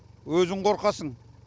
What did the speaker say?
өзің қорқасың